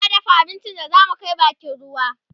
muna dafa abincin da zamu Kai bakin ruwa